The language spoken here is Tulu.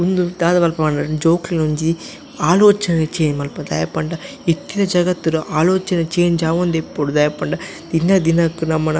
ಉಂದು ದಾದ ಮನ್ಪುಂಡು ಪಂಡ ಜೋಕ್ಲೆನ್ ಒಂಜಿ ಆಲೋಚನೆ ಚೇಂಜ್ ಮಲ್ಪುಂಡು ದಾಯೆ ಪಂಡ ಇತ್ತೆದ ಜಗತ್ತುಡು ಆಲೋಚನೆ ಚೇಂಜ್ ಆವೊಂದೆ ಇಪ್ಪೊಡು ದಾಯೆ ಪಂಡ ದಿನ ದಿನಕ್ ನಮನ.